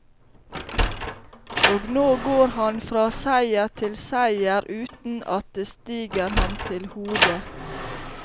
Og nå går han fra seier til seier, uten at det stiger ham til hodet.